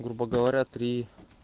грубо говоря три